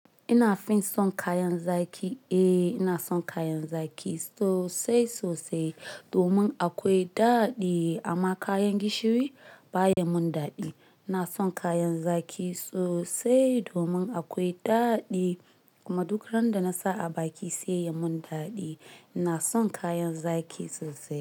Ina fin son kayan zaki, eh ina son kayan zaki sosai sosai domin akwai daɗi amma kayan gishiri ba ya mun daɗi. Na son kayan zaki sosai domin akwai daɗi kuma duk ran da na sa a baki sai ya mun daɗi. Ina son kayan zaki sosai.